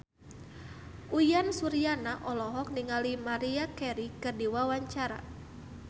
Uyan Suryana olohok ningali Maria Carey keur diwawancara